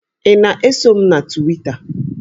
Ị na-eso m na Twita?